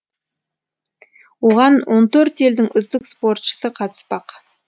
оған он төрт елдің үздік спортшысы қатыспақ